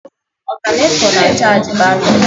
Ọtánètọ na-achaji batrị